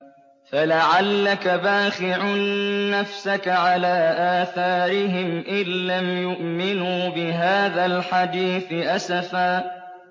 فَلَعَلَّكَ بَاخِعٌ نَّفْسَكَ عَلَىٰ آثَارِهِمْ إِن لَّمْ يُؤْمِنُوا بِهَٰذَا الْحَدِيثِ أَسَفًا